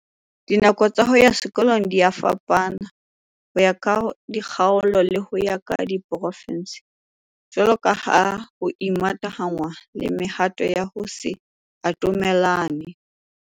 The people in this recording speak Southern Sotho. Dinako tsa ho ya sekolong dia fapana ho ya ka dikgaolo le ho ya ka diporofinse, jwalo ka ha ho imatahanngwa le mehato ya ho se atamelane.